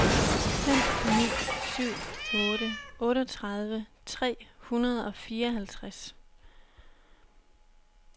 fem ni syv otte otteogtredive tre hundrede og fireoghalvtreds